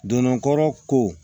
Donna kɔrɔ ko